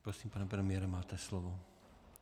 Prosím, pane premiére, máte slovo.